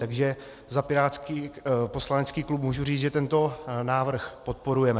Takže za pirátský poslanecký klub můžu říct, že tento návrh podporujeme.